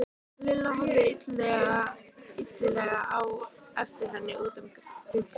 Lilla horfði illilega á eftir henni út um gluggann.